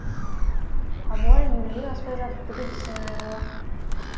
абылай елуден аспай жатып бүкіл тісінен айырылған